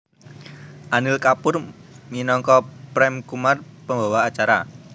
Anil Kapoor minangka Prem Kumar pembawa acara